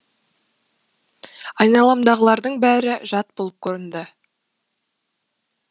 айналамдағылардың бәрі жат болып көрінді